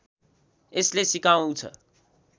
यसले सिकाउछ